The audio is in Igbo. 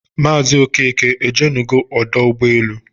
Mazi Okeke ojenugo ọdọ ụgbọelu?